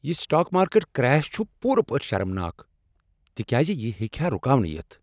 یہ stock market crash چھ پوٗرٕ پٲٹھۍ شرمناک تکیاز یہ ہیٚکہ ہا رکاونہٕ یتھ۔